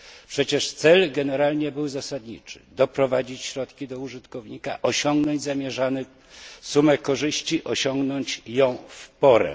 Przecież cel generalnie był zasadniczy doprowadzić środki do użytkownika, osiągnąć zamierzoną sumę korzyści, osiągnąć ją w porę.